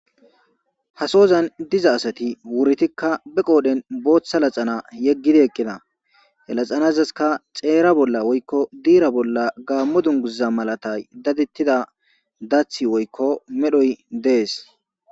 Ha soozan diza asati wurtikka ba qooren booththa naxala yeggidi eqqida ha naxalazika xeera bolla woykko diira bolla gaammo dunguza malatay dadettida dathi woykko medhoy dees.